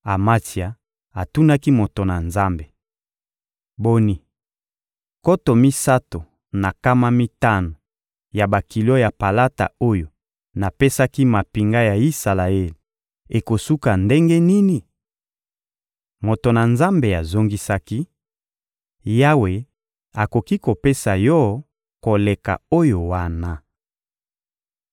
Amatsia atunaki moto na Nzambe: — Boni, nkoto misato na nkama mitano ya bakilo ya palata oyo napesaki mampinga ya Isalaele ekosuka ndenge nini? Moto na Nzambe azongisaki: — Yawe akoki kopesa yo koleka oyo wana.